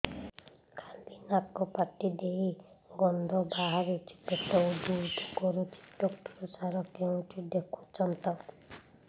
ଖାଲି ନାକ ପାଟି ଦେଇ ଗଂଧ ବାହାରୁଛି ପେଟ ହୁଡ଼ୁ ହୁଡ଼ୁ କରୁଛି ଡକ୍ଟର ସାର କେଉଁଠି ଦେଖୁଛନ୍ତ